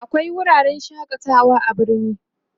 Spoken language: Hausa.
akwai wuraren shakatawa a birni